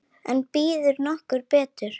En býður nokkur betur?